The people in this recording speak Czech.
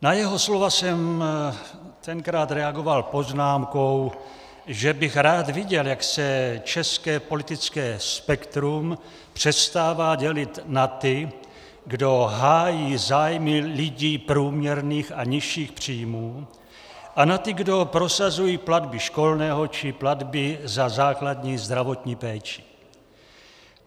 Na jeho slova jsem tenkrát reagoval poznámkou, že bych rád viděl, jak se české politické spektrum přestává dělit na ty, kdo hájí zájmy lidí průměrných a nižších příjmů, a na ty, kdo prosazují platby školného či platby za základní zdravotní péči.